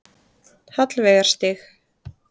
Hallveigarstíg